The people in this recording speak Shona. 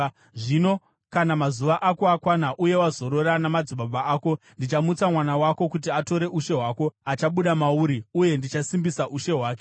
Zvino kana mazuva ako akwana uye wazorora namadzibaba ako, ndichamutsa mwana wako kuti atore ushe hwako, achabuda mauri, uye ndichasimbisa ushe hwake.